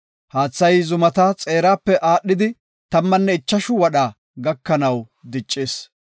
Haathay zumata xeerape aadhidi, tammanne ichashu wadha gakanaw diccis.